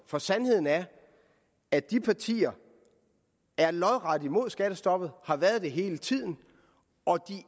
for sandheden er at de partier er lodret imod skattestoppet har været det hele tiden og